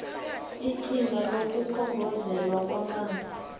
iqhinga lokukhongozelwa kwamanzi